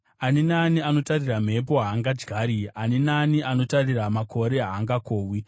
Ani naani anotarira mhepo haangadyari; ani naani anotarira makore haangakohwi.